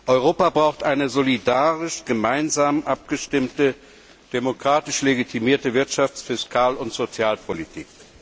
Europa braucht eine solidarisch gemeinsam abgestimmte, demokratisch legitimierte Wirtschafts Fiskal und Sozialpolitik.